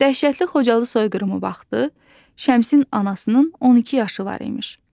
Dəhşətli Xocalı soyqırımı vaxtı Şəmsin anasının 12 yaşı var imiş.